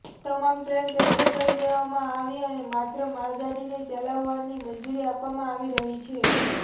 તમામ train cancel કરી દેવામાં આવી અને માત્ર માલગાડીને ચલાવવાની મંજૂરી આપવામાં આવી રહી છે